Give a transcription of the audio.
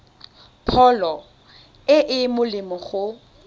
pholo e e molemo go